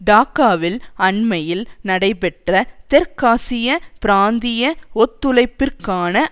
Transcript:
டாக்காவில் அண்மையில் நடைபெற்ற தெற்காசிய பிராந்திய ஒத்துழைப்பிற்கான